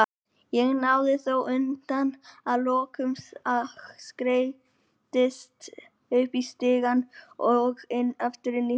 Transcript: Ég náði þó andanum að lokum og skreiddist upp stigann og aftur inn í húsið.